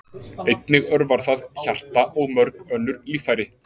Einnig örvar það hjarta og mörg önnur líffæri.